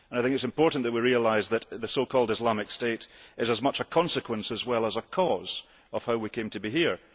It is important that we realise that the so called Islamic State is as much a consequence as a cause of how we came to be here.